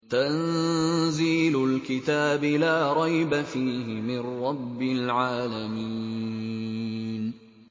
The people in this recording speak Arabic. تَنزِيلُ الْكِتَابِ لَا رَيْبَ فِيهِ مِن رَّبِّ الْعَالَمِينَ